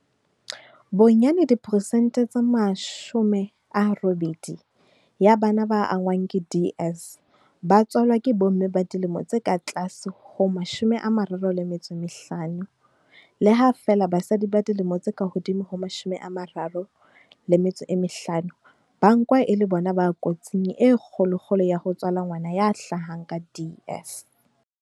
Bonyane diperesente tse 80 ya bana ba angwang ke DS ba tswalwa ke bomme ba dilemo tse ka tlase ho 35, le ha feela basadi ba dilemo tse ka hodimo ho 35 ba nkwa e le bona ba kotsing e kgolokgolo ya ho tswala ngwana ya hlahang ka DS.